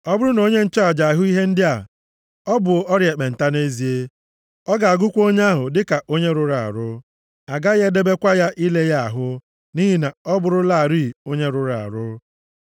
Ọ bụrụ na onye nchụaja ahụ ihe ndị a, ọ bụ ọrịa ekpenta nʼezie. Ọ ga-agụkwa onye ahụ dịka onye rụrụ arụ. A gaghị edebekwa ya ile ya ahụ, nʼihi na ọ bụrụlarị onye rụrụ arụ.